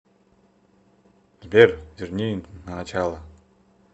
сбер верни на начало